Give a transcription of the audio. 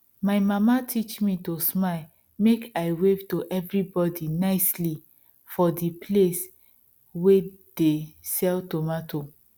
my mama teach me to smile make i wave to everybody nicely for di place wey de sell tomato